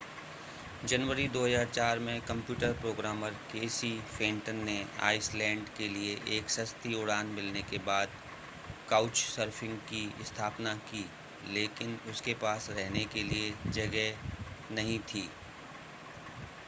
जनवरी 2004 में computer programmer Casey Fenton ने Iceland के लिए एक सस्ती उड़ान मिलने के बाद काउचसर्फिंग की स्थापना की लेकिन उसके पास रहने के लिए जगह नहीं थी